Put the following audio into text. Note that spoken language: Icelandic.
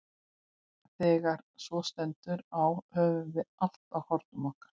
Þegar svo stendur á höfum við allt á hornum okkar.